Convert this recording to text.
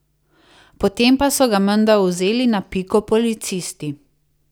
Potem pa so ga menda vzeli na piko policisti.